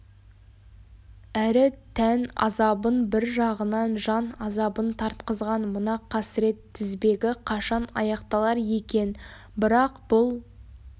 әрі тән азабын бір жағынан жан азабын тартқызған мына қасірет тізбегі қашан аяқталар екен бірақ бұл